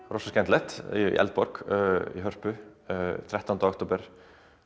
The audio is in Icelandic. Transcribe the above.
rosa skemmtilegt í Eldborg í Hörpu þrettándi október